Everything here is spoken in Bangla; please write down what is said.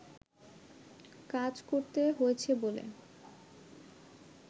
কাজ করতে হয়েছে বলে